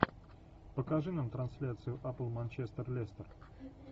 покажи нам трансляцию апл манчестер лестер